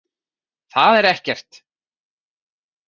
Það er ekkert